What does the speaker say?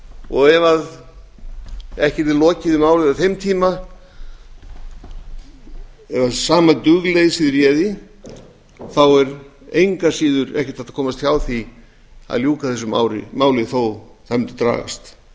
og ef eða yrði lokið við málið á þeim tíma ef sama dugleysið réði þá er engu að síður ekki hægt að komast hjá því að ljúka þessu máli þó það mundi dragast